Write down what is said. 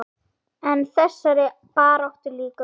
En þessari baráttu lýkur aldrei.